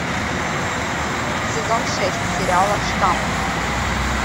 сезон шесть сериала штамм